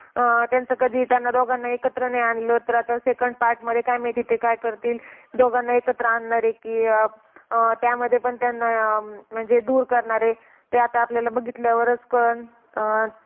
अह त्यांचा कधी त्यांना दोघांना एकत्र नाही आणलं. तर आता second part मध्ये काय माहित ते काय करतील? दोघांना एकत्र आणणार आहे की, अह त्यामध्ये पण त्यांना अं म्हणजे दूर करणार आहे, ते आता आपल्याला बघितल्यावरच कळंन. अह